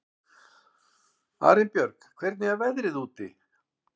Arinbjörg, hvernig er veðrið úti?